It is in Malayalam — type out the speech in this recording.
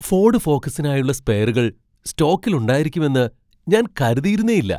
ഫോഡ് ഫോക്കസിനായുള്ള സ്പെയറുകൾ സ്റ്റോക്കിൽ ഉണ്ടായിരിക്കുമെന്ന് ഞാൻ കരുതിയിരുന്നേയില്ല.